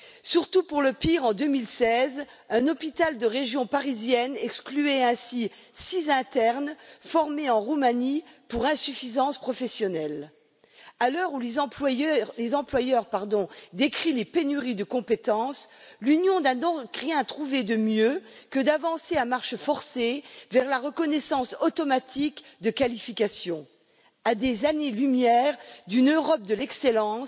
Surtout pour le pire en 2016, un hôpital de la région parisienne excluait ainsi six internes formés en Roumanie pour insuffisance professionnelle. À l'heure où les employeurs décrient les pénuries de compétences, l'Union n'a donc rien trouvé de mieux que d'avancer à marche forcée vers la reconnaissance automatique de qualifications. À des années lumière d'une Europe de l'excellence,